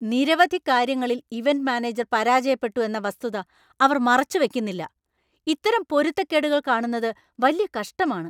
നിരവധി കാര്യങ്ങളിൽ event manager പരാജയപ്പെട്ടു എന്ന വസ്തുത അവര്‍ മറച്ചു വയ്ക്കുന്നില്ല. ഇത്തരം പൊരുത്തക്കേടുകൾ കാണുന്നത് വല്യ കഷ്ടമാണ്.